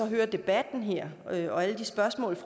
hører debatten her her og alle de spørgsmål